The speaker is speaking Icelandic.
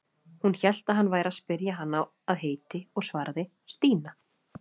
Hún hélt að hann væri að spyrja hana að heiti og svaraði: Stína.